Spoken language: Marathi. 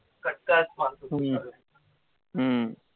हम्म